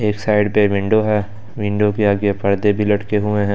एक साइड पे विंडो है विंडो के आगे पर्दे भी लटके हुए हैं।